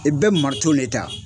I bɛ mariton le ta